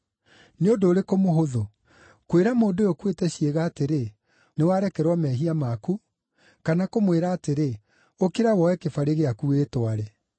Nĩ ũndũ ũrĩkũ mũhũthũ: kwĩra mũndũ ũyũ ũkuĩte ciĩga atĩrĩ, ‘Nĩ warekerwo mehia maku,’ kana kũmwĩra atĩrĩ, ‘Ũkĩra woe kĩbarĩ gĩaku wĩtware’?